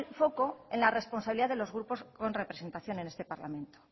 foco en la responsabilidad de los grupos con representación en este parlamento